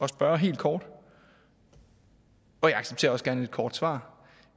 spørge helt kort og jeg accepterer også et kort svar